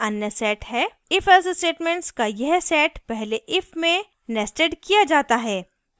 ifelse statements का यह set पहले if में nested किया जाता है